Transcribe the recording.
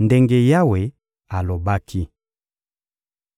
ndenge Yawe alobaki.